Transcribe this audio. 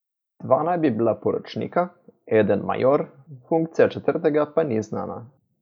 Dva naj bi bila poročnika, eden major, funkcija četrtega pa ni znana.